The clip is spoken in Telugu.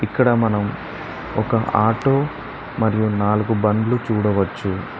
ఇక్కడ మనం ఒక ఆటో మరియు నాలుగు బండ్లు చూడవచ్చు.